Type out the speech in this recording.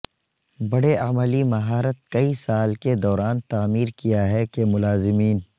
بڑے عملی مہارت کئی سال کے دوران تعمیر کیا ہے کہ کے ملازمین